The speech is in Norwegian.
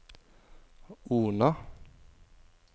Ona